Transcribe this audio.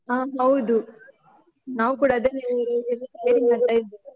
ಆ ಹೌದು, ನಾವು ಕೂಡ ಅದನ್ನೆ ಅ ready ಮಾಡ್ತಾ ಇದ್ವಿ.